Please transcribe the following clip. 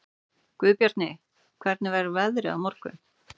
Guðbjarni, hvernig verður veðrið á morgun?